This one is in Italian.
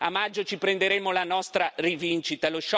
A maggio ci prenderemo la nostra rivincita.